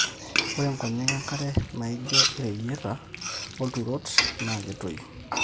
ore nkonyek enkare naijo ireyiata olturot naa ketoyu